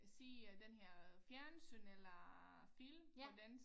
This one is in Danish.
Se den øh her fjernsyn eller film på dansk